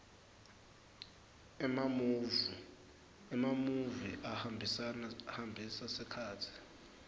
emamuvi ahambisa sikhatsi